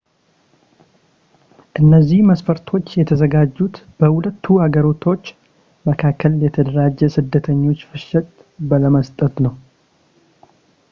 እነዚህ መስፈርቶች የተዘጋጁት በሁለቱ ሀገሮች መካከል የተደራጀ የስደተኞች ፍሰትን ለመስጠት ነው